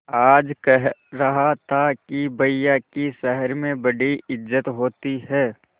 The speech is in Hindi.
आज कह रहा था कि भैया की शहर में बड़ी इज्जत होती हैं